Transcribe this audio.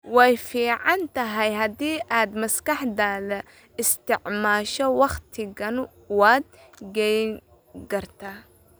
Way fiican tahay haddii aad maskaxdaada isticmaasho wakhtigan waad qeeyn gartaay